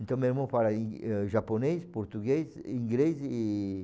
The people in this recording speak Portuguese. Então meu irmão fala i japonês, português, inglês e